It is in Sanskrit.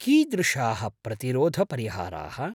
कीदृशाः प्रतिरोधपरिहाराः?